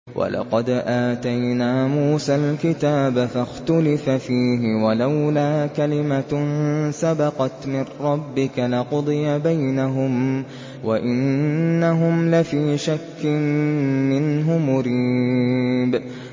وَلَقَدْ آتَيْنَا مُوسَى الْكِتَابَ فَاخْتُلِفَ فِيهِ ۗ وَلَوْلَا كَلِمَةٌ سَبَقَتْ مِن رَّبِّكَ لَقُضِيَ بَيْنَهُمْ ۚ وَإِنَّهُمْ لَفِي شَكٍّ مِّنْهُ مُرِيبٍ